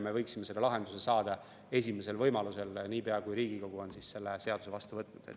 Me võiksime selle lahenduse saada esimesel võimalusel, niipea kui Riigikogu on seaduse vastu võtnud.